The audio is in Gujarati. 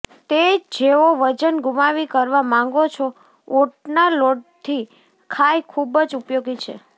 તે જેઓ વજન ગુમાવી કરવા માંગો છો ઓટના લોટથી ખાય ખૂબ જ ઉપયોગી છે